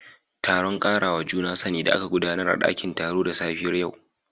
Taron karawa juna sani da aka gudanar a dakin taro da safiyar yau